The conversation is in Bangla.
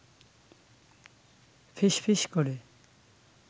ফিসফিস করে